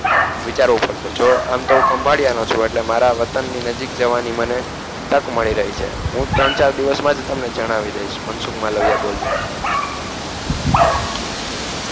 વિચાર્વુ પડસે જો આમતો હું ખંભડિયાનો એટલે મારા વતનની નજીક જવાની મને તક મળી રહી છે હું ત્રણ ચાર દિવસમાજ તમને જણાવી દઇશ મનસુખ માલવિયા બોલ્યો